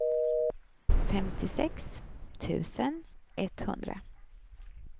femtiosex tusen etthundra